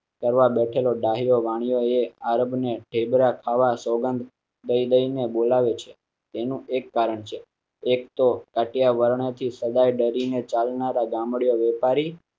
કરવા બેઠેલો ડાહ્યો વાણિયો એન્ડ અર્બન એફે ડ્રા ખાવા સોગંદ દઈ દઈ ને બોલાવે છે. એક તો કટિયા વર્ણ થી સદાય ડરી ને ચાલનાર ગામ ડિયો વેપારી